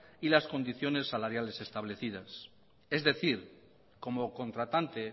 y las condiciones salariales establecidas es decir como contratante